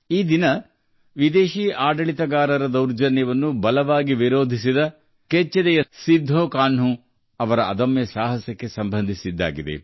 ಈ ದಿನವು ವಿದೇಶಿ ದೊರೆಗಳ ದೌರ್ಜನ್ಯವನ್ನು ಬಲವಾಗಿ ವಿರೋಧಿಸಿದ ವೀರ ಸಿಧು ಕನ್ಹು ಅವರ ಕೆಚ್ಚೆದೆಯ ಧೈರ್ಯಕ್ಕೆ ಸಂಬಂಧಿಸಿದೆ